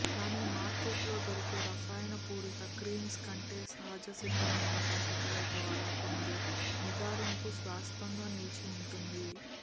కానీ మార్కెట్లో దొరికే రసాయనపూరిత క్రీమ్స్ కంటే సహజసిద్ధమైన పద్ధతుల ద్వారా పొందే నిగారింపు శాశ్వతంగా నిలిచి ఉంటుంది